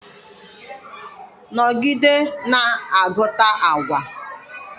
nọgide na-agụta agwa!